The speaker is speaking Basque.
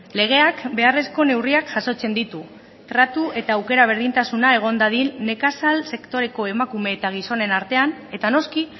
legeak beharrezko neurriak jasotzen ditu tratu eta aukera berdintasuna egon dadin nekazal sektoreko emakume eta gizonen artean eta noski